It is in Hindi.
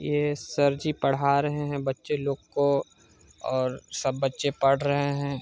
यहँ सर जी पढ़ा रहे हैं बच्चे लोग को और सब बच्चे पढ़ रहे है।